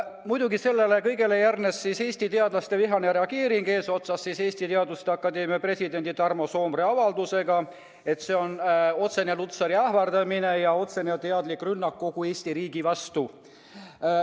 Muidugi, sellele kõigele järgnes Eesti teadlaste vihane reageering, eesotsas Eesti Teaduste Akadeemia presidendi Tarmo Soomere avaldusega, et see on otsene Lutsari ähvardamine ja teadlik rünnak kogu Eesti riigi vastu.